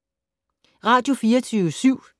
Radio24syv